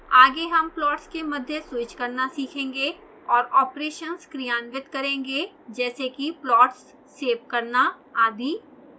आगे हम प्लॉट्स के मध्य स्वीच करना सीखेंगे और और ऑपरेशन्स क्रियान्वित करेंगे जैसे कि प्लॉट्स सेव करना आदि